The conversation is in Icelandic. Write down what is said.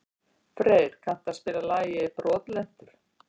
Freyr, kanntu að spila lagið „Brotlentur“?